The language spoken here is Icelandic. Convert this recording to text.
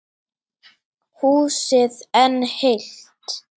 Húsið enn heilt.